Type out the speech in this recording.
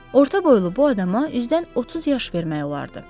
Orta boylu bu adama üzdən 30 yaş vermək olardı.